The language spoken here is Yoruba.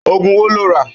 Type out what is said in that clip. Ógún wó ló n rá?